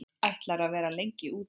Ætlarðu að vera lengi úti?